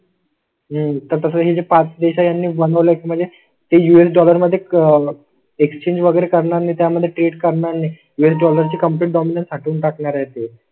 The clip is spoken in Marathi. नाही तसं हे पाच देश आहे यांनी बनवलाय म्हणजे ते यूएस डॉलर मध्ये आह क्सचेंज वगैरे करणार नाहीत. यामध्ये ट्रीट करणार नाही. वेळ डॉलर ची कम्प्लीट डॉमिनल हटवून टाकणार आहे ते.